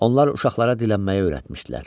Onlar uşaqlara dilənməyi öyrətmişdilər.